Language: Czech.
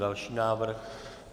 Další návrh.